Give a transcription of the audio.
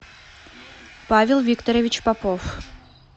павел викторович попов